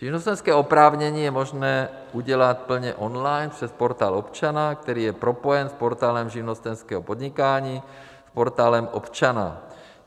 Živnostenské oprávnění je možné udělat plně on-line přes Portál občana, který je propojen s Portálem živnostenského podnikání, Portálem občana.